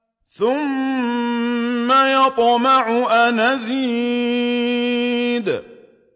ثُمَّ يَطْمَعُ أَنْ أَزِيدَ